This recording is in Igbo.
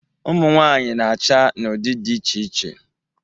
Ụmụnwaanyị na-acha n'ụdị dị iche iche.